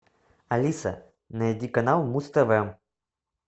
алиса найди канал муз тв